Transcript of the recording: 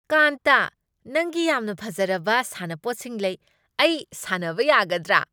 ꯀꯥꯟꯇꯥ, ꯅꯪꯒꯤ ꯌꯥꯝꯅ ꯐꯖꯔꯕ ꯁꯥꯟꯅꯄꯣꯠꯁꯤꯡ ꯂꯩ꯫ ꯑꯩ ꯁꯥꯟꯅꯕ ꯌꯥꯒꯗ꯭ꯔ?